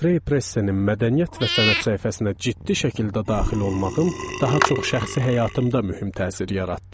Nefreypressenin mədəniyyət və sənət səhifəsinə ciddi şəkildə daxil olmağım daha çox şəxsi həyatımda mühüm təsir yaratdı.